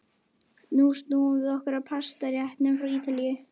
Nú snúum við okkur að pastaréttunum frá Ítalíu.